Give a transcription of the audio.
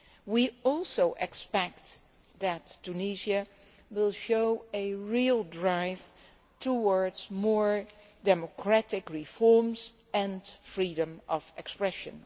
We also expect that Tunisia will show a real drive towards more democratic reforms and freedom of expression.